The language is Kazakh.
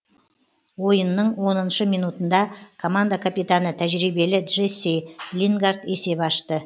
ойынның оныншы минутында команда капитаны тәжірибелі джесси лингард есеп ашты